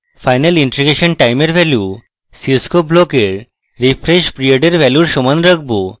final integration time এর value cscope block এর refresh period এর ভ্যালুর সমান রাখবো